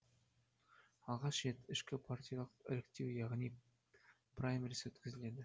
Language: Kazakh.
алғаш рет ішкі партиялық іріктеу яғни праймериз өткізіледі